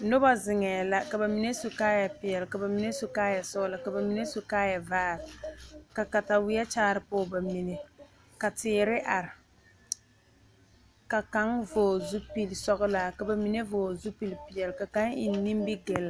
Noba zeŋ ka bamine su kaaya peɛle ka bamine su kaaya sɔglɔ ka bamine su kaaya ziiri ka katawiɛ kaare poɔ bamine ka teere are ka kaŋa vɔgle zupele sɔglaa ka bamine vɔgle zupele peɛle ka bamine eŋ nimigele.